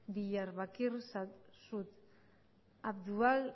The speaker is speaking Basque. diyarbakir abdullah